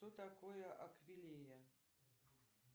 что такое аквилея